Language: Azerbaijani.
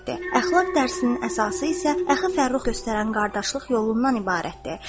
Əxlaq dərsinin əsası isə Əxi Fərrux göstərən qardaşlıq yolundan ibarətdir.